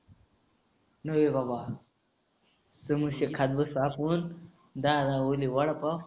ए बाबा. समोसे खात बसतो असं म्हण. दहा दहावाले वडापाव.